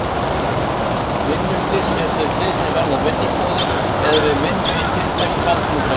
Vinnuslys eru þau slys sem verða á vinnustöðvum eða við vinnu í tilteknum atvinnugreinum.